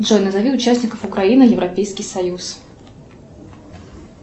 джой назови участников украины европейский союз